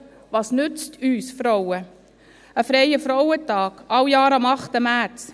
Was nützt uns Frauen ein freier Frauentag, alle Jahre am 8. März?